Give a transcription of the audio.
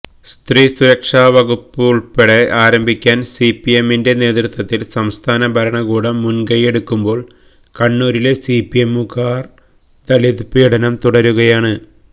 സ്ത്രീ സുരക്ഷാ വകുപ്പുള്പ്പെടെ ആരംഭിക്കാന് സിപിഎമ്മിന്റെ നേതൃത്വത്തിലുളള സംസ്ഥാന ഭരണകൂടം മുന്കയ്യെടുക്കുമ്പോള് കണ്ണൂരിലെ സിപിഎമ്മുകാര് ദളിത് പീഡനം തുടരുകയാണ്